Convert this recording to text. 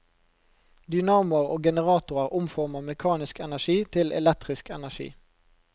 Dynamoer og generatorer omformer mekanisk energi til elektrisk energi.